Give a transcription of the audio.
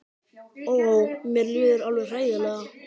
Ó, ó, mér líður alveg hræðilega.